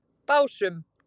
Básum